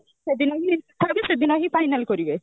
ସେଦିନ କଥାହେବେ ସେଦିନ ହିଁ final କରିବେ